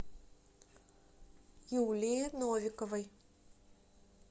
юлии новиковой